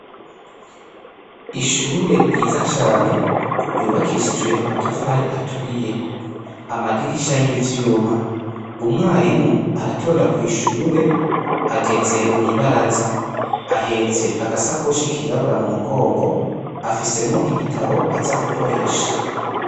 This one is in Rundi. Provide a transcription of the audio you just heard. Ishure ryiza cane yubakishijwe amatafari aturiye amadirisha y'ivyuma, umwarimu aratonda kw'ishure ageze mw'ibaraza ahetse agashakoshi kirabura mumugongo afisemwo ibitabo aza gukoresha.